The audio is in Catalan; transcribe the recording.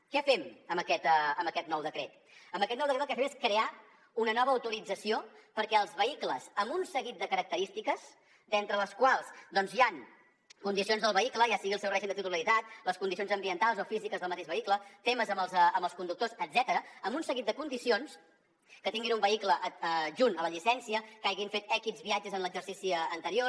què fem amb aquest nou decret amb aquest nou decret el que fem és crear una nova autorització perquè els vehicles amb un seguit de característiques entre les quals doncs hi han condicions del vehicle ja sigui el seu règim de titularitat les condicions ambientals o físiques del mateix vehicle temes amb els conductors etcètera amb un seguit de condicions que tinguin un vehicle adjunt a la llicència que hagin fet ics viatges en l’exercici anterior